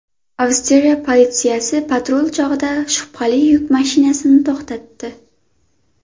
Avstriya politsiyasi patrul chog‘ida shubhali yuk mashinasini to‘xtatdi.